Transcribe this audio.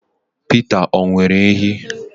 Peter, o nwere ehi?